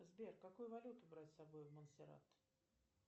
сбер какую валюту брать с собой в монсерат